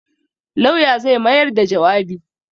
Lauya zai mayar da jawabi.